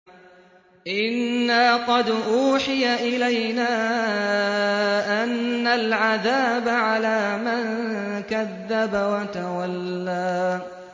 إِنَّا قَدْ أُوحِيَ إِلَيْنَا أَنَّ الْعَذَابَ عَلَىٰ مَن كَذَّبَ وَتَوَلَّىٰ